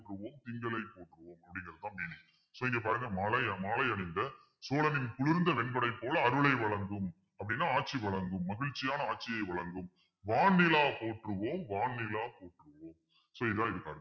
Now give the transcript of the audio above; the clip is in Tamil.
திங்களை போற்றுவோம் அப்டிங்குறதுதான் meaning so இங்க பாருங்க மலை~ மாலை அணிந்த சோழனின் குளிர்ந்த வெண்குடை போல அருளை வழங்கும் அப்படின்னா ஆட்சி வழங்கும் மகிழ்ச்சியான ஆட்சியை வழங்கும் வான் நிலா போற்றுவோம் வான் நிலா போற்றுவோம் so இதான் இதுக்கு அர்த்தம்